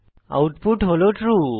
output হল true